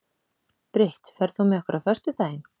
Brit, ferð þú með okkur á föstudaginn?